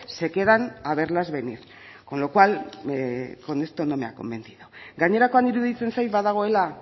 se quedan a verlas venir con lo cual con esto no me ha convencido gainerakoan iruditzen zait badagoela